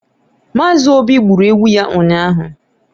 Mazị obi gburu ewu ya ụnyahụ